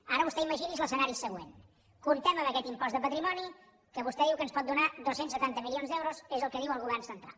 ara vostè imagini’s l’escenari següent comptem amb aquest impost de patrimoni que vostè diu que ens pot donar dos cents i setanta milions d’euros és el que diu el govern central